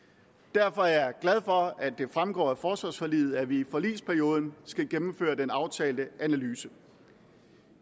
derfor er jeg glad for at det fremgår af forsvarsforliget at vi i forligsperioden skal gennemføre den aftalte analyse